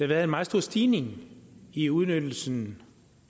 været en meget stor stigning i udnyttelsen